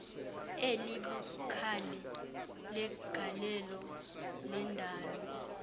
elibukhali legalelo lendalo